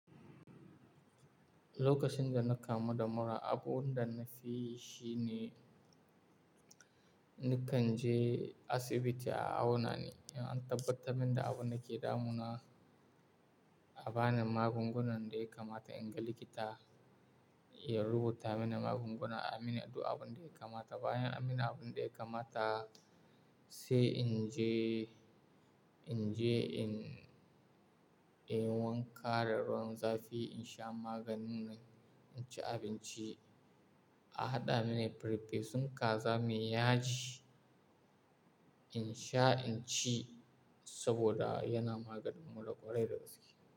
Lokacin da na kamu da mura, abun da na fi yi shi ne, na kan je asibiti a aunani. In an tabbatar min da abin da ke damuna, a bani magungunan daya kamata in ga likita, ya rubuta mini magunguna, a min duk abin da ya kamata. Bayan an min abin da kamata, sai in je, in je in wanka da ruwan zafi, in sha maganin nan, in ci abinci. A haɗa mini farfesun kaza mai yaji in sha, in ci saboda yana maganin mura kwarai da gaske.